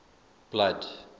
blood